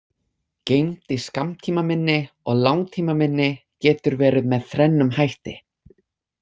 Geymd í skammtímaminni og langtímaminni getur verið með þrennum hætti.